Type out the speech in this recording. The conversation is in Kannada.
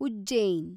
ಉಜ್ಜೈನ್